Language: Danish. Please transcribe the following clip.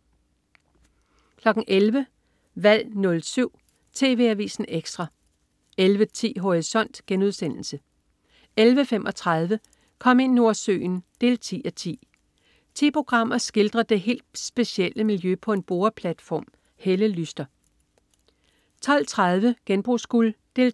11.00 Valg 07. TV Avisen Ekstra 11.10 Horisont* 11.35 Kom ind Nordsøen 10:10. Ti programmer skildrer det helt specielle miljø på en boreplatform. Helle Lyster 12.30 Genbrugsguld 3:4*